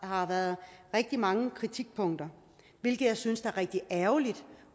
har været rigtig mange kritikpunkter hvilket jeg synes er rigtig ærgerligt